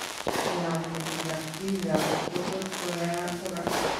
Koaam metit ak seizures ko tos' ko yaayak kora.